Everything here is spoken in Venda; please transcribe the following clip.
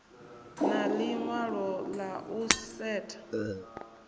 na ḽiṅwalo ḽa u setsha